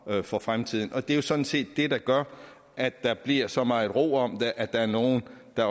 for fremtiden det er sådan set det der gør at der bliver så meget ro om det at der er nogle der